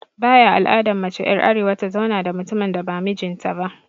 Baya al'adan mace er arewa ta zauna da mutumin da ba mijin ta ba.